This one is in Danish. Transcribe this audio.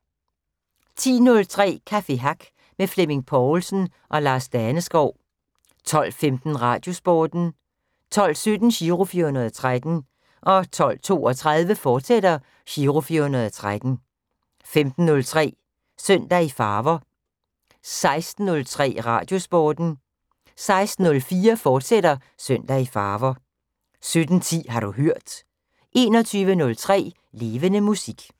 10:03: Café Hack med Flemming Povlsen og Lars Daneskov 12:15: Radiosporten 12:17: Giro 413 12:32: Giro 413, fortsat 15:03: Søndag i Farver 16:03: Radiosporten 16:04: Søndag i Farver, fortsat 17:10: Har du hørt 21:03: Levende Musik